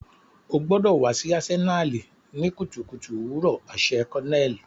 O gbọdọ wa si Asenali ni kutukutu owurọ aṣẹ colonel.